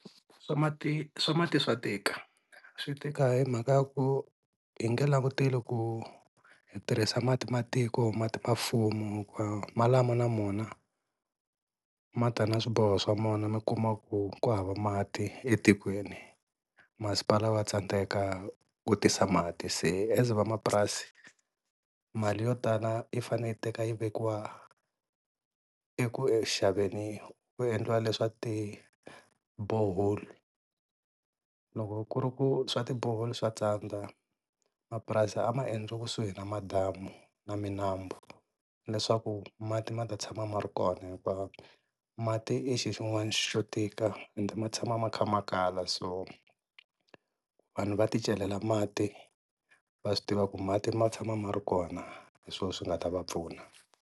Swa mati swa mati swa tika swi tika hi mhaka ya ku hi nge languteli ku hi tirhisa mati matiko mati ma mfumo malamo na wona ma ta na swiboho swa mona mi kuma ku kuhava mati etikweni masipala wa tsandzeka ku tisa mati, se as vamapurasi mali yo tala yi fane yi teka yi vekiwa eku xaveni ku endliwa leswa tibhoholi loko ku ri ku swa tibhoholi swa tsandza mapurasi a maendliwi kusuhi na madamu na minambu leswaku mati ma ta tshama ma ri kona hinkwavo mati ma ta tshama ma ri kona hikuva mati i xixin'wana xo tika ende ma tshama ma kha ma kala so vanhu va ti celela mati va swi tiva ku mati ma tshama ma ri kona hi swona swi nga ta va pfuna.